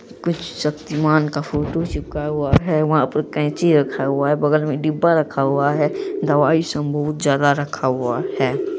कुछ शक्तिमान का फोटो चिपका हुआ है वहाँ पर कैंची रखा हुआ है बगल में डिब्बा रखा हुआ है दवाई सब बहुत ज्यादा रखा हुआ है।